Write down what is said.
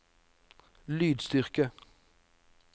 lydstyrke